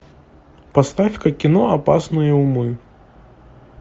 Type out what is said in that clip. поставь ка кино опасные умы